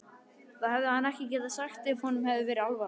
Það hefði hann ekki sagt ef honum hefði verið alvara